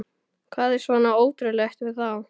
Hvað er svona ótrúlegt við það?